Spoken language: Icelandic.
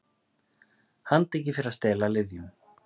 Handtekin fyrir að stela lyfjum